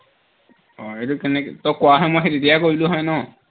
অ এইটো কেনেকে তই কোৱাহলে মই সেই তেতিয়াই কৰিলো হয় ন